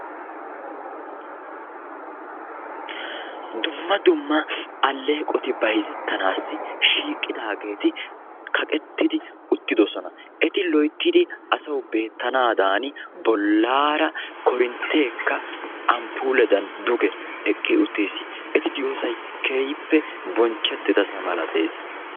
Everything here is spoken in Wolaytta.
Dumma dumma alleeqoti bayzettanaassi shiiqidaageeti kaqettidi uttidosona. Eti loyttidi asawu beettanaadan bollaara korintteekka amppuuledan duge eqqi uttis. Eti diyosayi keehippe bonchchettidasa malates